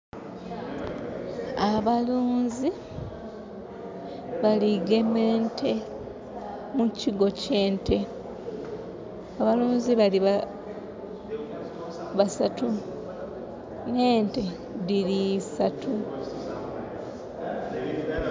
Abaluunzi bali gema ente mu kigo ky'ente. Abaluunzi bali basatu. N'ente dhili isatu.